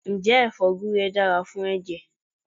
Ǹjẹ́ ẹfọ́ gure dára fún ẹ̀jẹ̀?